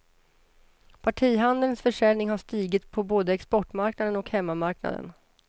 Partihandelns försäljning har stigit på både exportmarknaden och hemmamarknaden.